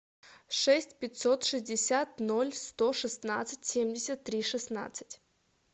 шесть пятьсот шестьдесят ноль сто шестнадцать семьдесят три шестнадцать